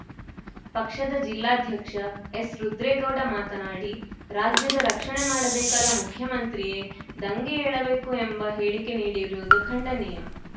ಪಕ್ಷದ ಜಿಲ್ಲಾಧ್ಯಕ್ಷ ಎಸ್‌ ರುದ್ರೇಗೌಡ ಮಾತನಾಡಿ ರಾಜ್ಯದ ರಕ್ಷಣೆ ಮಾಡಬೇಕಾದ ಮುಖ್ಯಮಂತ್ರಿಯೇ ದಂಗೆ ಏಳಬೇಕು ಎಂಬ ಹೇಳಿಕೆ ನೀಡಿರುವುದು ಖಂಡನೀಯ